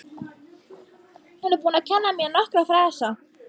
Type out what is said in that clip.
Hún er búin að kenna mér nokkra frasa.